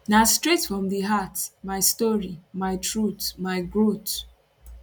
na straight from di heart my story my truth my growth